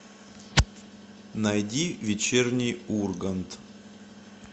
найди вечерний ургант